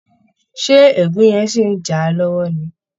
Ṣé ègún yẹn ṣì ń jà á lọ́wọ́ ni?